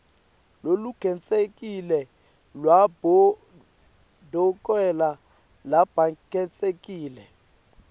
lolukhetsekile lwabodokotela labakhetsekile